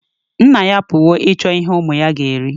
Nna-ya apuwo ichọ ihe umu-ya ga eri